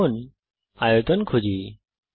এখন আয়তন খুঁজি